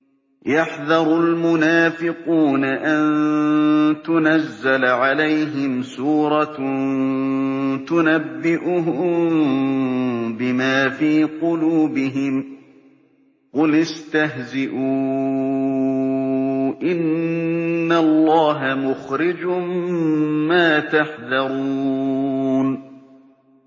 يَحْذَرُ الْمُنَافِقُونَ أَن تُنَزَّلَ عَلَيْهِمْ سُورَةٌ تُنَبِّئُهُم بِمَا فِي قُلُوبِهِمْ ۚ قُلِ اسْتَهْزِئُوا إِنَّ اللَّهَ مُخْرِجٌ مَّا تَحْذَرُونَ